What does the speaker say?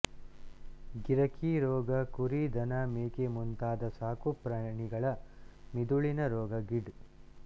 ಗಿರಕಿ ರೋಗ ಕುರಿ ದನ ಮೇಕೆ ಮುಂತಾದ ಸಾಕುಪ್ರಾಣಿಗಳ ಮಿದುಳಿನ ರೋಗ ಗಿಡ್